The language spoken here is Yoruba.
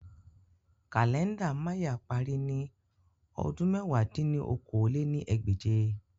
Kalẹnda Maya pari ni ọdun mẹ̀wá dín ní okòó-lé-ní-ẹgbẹ́je